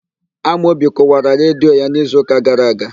Amaobi Kụwara redio ya n'izuụka gara aga..